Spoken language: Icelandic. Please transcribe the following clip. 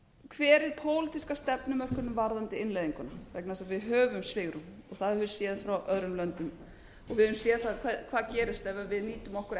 hver er pólitíska stefnumörkunin varðandi innleiðinguna vegna þess að við höfum svigrúm og það höfum við séð frá öðrum löndum og við höfum séð hvað gerist ef við nýtum okkur